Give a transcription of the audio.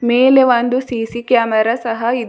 ಮೇಲೆ ಒಂದು C C camera ಸಹ ಇ --